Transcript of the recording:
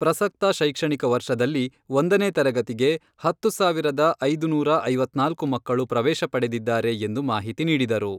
ಪ್ರಸಕ್ತ ಶೈಕ್ಷಣಿಕ ವರ್ಷದಲ್ಲಿ ಒಂದನೇ ತರಗತಿಗೆ ಹತ್ತು ಸಾವಿರದ ಐದು ನೂರಾ ಐವತ್ನಾಲ್ಕು ಮಕ್ಕಳು ಪ್ರವೇಶ ಪಡೆದಿದ್ದಾರೆ ಎಂದು ಮಾಹಿತಿ ನೀಡಿದರು.